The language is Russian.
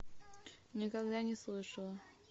никогда не слышала